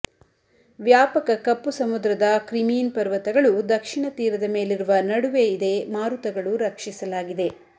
ವ್ಯಾಪಕ ಕಪ್ಪು ಸಮುದ್ರದ ಕ್ರಿಮೀನ್ ಪರ್ವತಗಳು ದಕ್ಷಿಣ ತೀರದ ಮೇಲಿರುವ ನಡುವೆ ಇದೆ ಮಾರುತಗಳು ರಕ್ಷಿಸಲಾಗಿದೆ